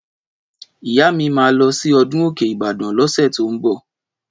Ìyá mi mà lọsi ọdún òkẹ Ìbàdàn losẹ tò ń mbọ